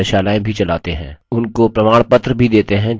उनको प्रमाणपत्र भी देते हैं जो online test pass करते हैं